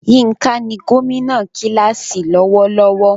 Yinka ni gómìnà kíláàsì lọ́wọ́lọ́wọ́.